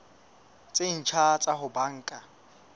tse ntjha tsa ho banka